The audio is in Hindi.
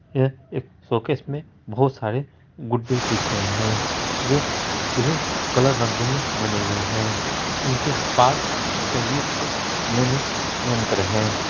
यह एक शोकैस मे बोहोत सारे गुड्डे दिख रहे है जो विभिन्न कलर रंगों मे बने हुए है इनके पास संगीत के नए-नए यंत्र है।